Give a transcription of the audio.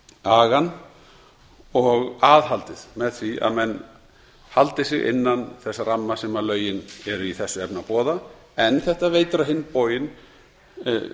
agann og aðhaldið með því að menn haldi sig innan þess ramma sem lögin eru í þessu efni að boða en þetta veitir á hinn